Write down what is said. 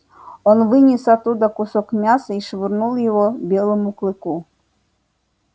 он вынес оттуда кусок мяса и швырнул его белому клыку